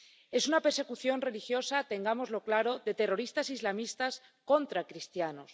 Es una persecución religiosa —tengámoslo claro— de terroristas islamistas contra cristianos.